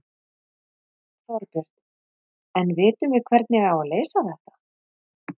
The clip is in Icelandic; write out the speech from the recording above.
Þorbjörn: En vitum við hvernig á að leysa þetta?